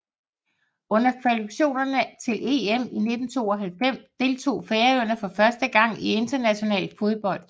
Under kvalifikationerne til EM 1992 deltog Færøerne for første gang i international fodbold